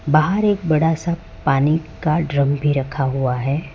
बाहर एक बड़ा सा पानी का ड्रम भी रखा हुआ है।